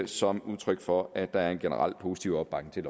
som udtryk for at der er en generel positiv opbakning